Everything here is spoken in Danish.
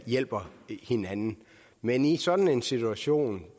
hjælper hinanden men i sådan en situation